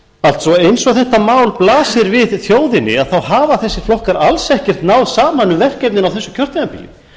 allt svo eins og þetta mál blasir við þjóðinni hafa þessir flokkar alls ekkert náð saman um verkefnin á þessu kjörtímabili